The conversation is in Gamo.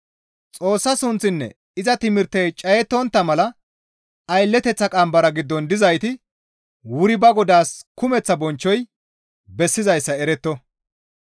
Xoossa sunththinne iza timirtey cayettontta mala aylleteththa qambara giddon dizayti wuri ba godaas kumeththa bonchchoy bessizayssa eretto.